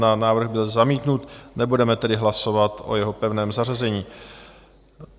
Návrh byl zamítnut, nebudeme tedy hlasovat o jeho pevném zařazení.